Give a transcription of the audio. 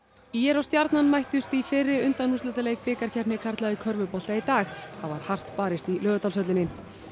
ÍR og Stjarnan mættust í fyrri undanúrslitaleik bikarkeppni karla í körfubolta í dag það var hart barist í Laugardalshöllinni